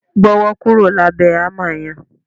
Gbọ́wọ́ kúrò lábẹ̀ hámà yẹn!